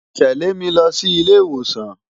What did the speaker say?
Tẹ̀lé mi lọ sí ilé ìwòsàn!